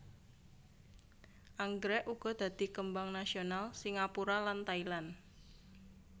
Anggrèk uga dadi kembang nasional Singapura lan Thailand